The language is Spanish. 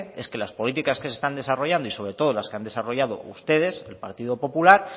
es que las políticas que se están desarrollando y sobre todo las que han desarrollado ustedes el partido popular